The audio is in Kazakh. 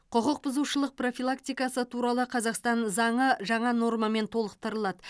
құқық бұзушылық профилактикасы туралы қазақстан заңы жаңа нормамен толықтырылады